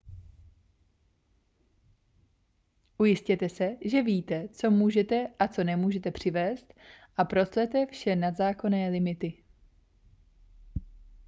ujistěte se že víte co můžete a co nemůžete přivézt a proclete vše nad zákonné limity